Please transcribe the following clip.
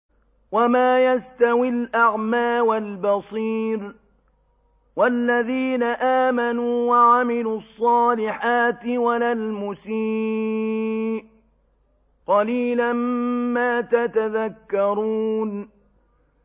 وَمَا يَسْتَوِي الْأَعْمَىٰ وَالْبَصِيرُ وَالَّذِينَ آمَنُوا وَعَمِلُوا الصَّالِحَاتِ وَلَا الْمُسِيءُ ۚ قَلِيلًا مَّا تَتَذَكَّرُونَ